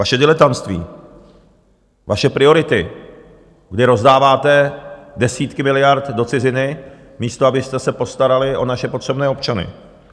Vaše diletantství, vaše priority, kdy rozdáváte desítky miliard do ciziny, místo abyste se postarali o naše potřebné občany.